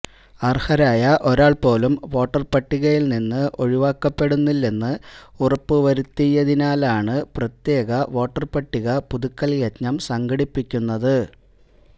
അര്ഹരായ ഒരാള് പോലും വോട്ടര്പട്ടികയില് നിന്ന് ഒഴിവാക്കപ്പെടുന്നില്ലെന്ന് ഉറപ്പുവരുത്തുന്നതിനാണ് പ്രത്യേക വോട്ടര്പട്ടിക പുതുക്കല് യജ്ഞം സംഘടിപ്പിക്കുന്നത്